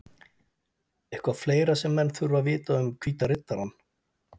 Eitthvað fleira sem menn þurfa að vita um Hvíta Riddarann?